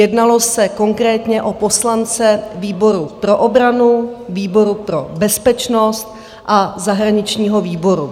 Jednalo se konkrétně o poslance výboru pro obranu, výboru pro bezpečnost a zahraničního výboru.